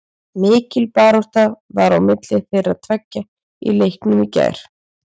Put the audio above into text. Mikil barátta var á milli þeirra tveggja í leiknum í gær.